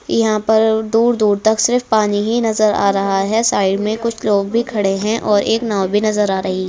यहाँ पर दूर-दूर तक सिर्फ पानी ही नजर आ रहा है साइड में कुछ लोग भी खड़े हैं और एक नाव भी नजर आ रही--